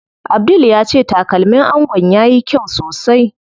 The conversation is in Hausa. Abdul ya ce takalmin angon yayi kyau sosai.